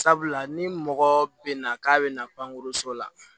Sabula ni mɔgɔ bɛ na k'a bɛ na pankurun la